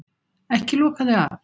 Ekki loka þig af.